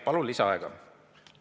" Palun lisaaega!